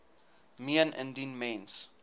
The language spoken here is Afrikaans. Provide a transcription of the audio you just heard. meen indien mens